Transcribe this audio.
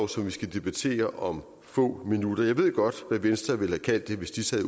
som vi skal debattere om få minutter jeg ved godt hvad venstre ville have kaldt det hvis de sad